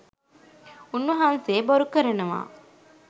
උන්වහන්සේ බොරු කරනවා